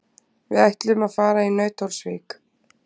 Við ætlum að fara í Nauthólsvík.